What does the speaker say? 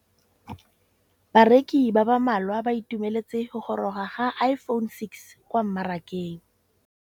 Bareki ba ba malwa ba ituemeletse go gôrôga ga Iphone6 kwa mmarakeng.